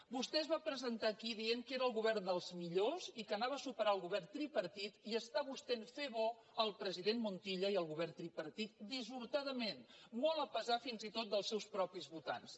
vostè es va presentar aquí dient que era el govern dels millors i que superaria el govern tripartit i està vostè fent bons el president montilla i el govern tripartit dissortadament molt a pesar fins i tot dels seus propis votants